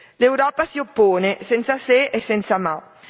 L'Europa si oppone senza se e senza ma.